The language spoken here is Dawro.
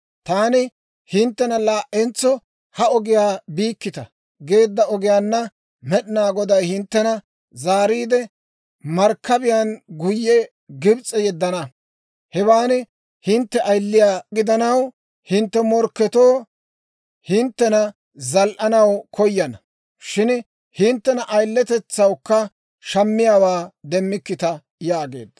Taani hinttena, ‹Laa"entso ha ogiyaa biikkita› geedda ogiyaanna Med'inaa Goday hinttena zaariide markkabiyaan guyye Gibs'e yeddana. Hewaan hintte ayiliyaa gidanaw, hintte morkketoo hinttena zal"anaw koyana; shin hinttena ayileyanawukka shammiyaawaa demmikkita» yaageedda.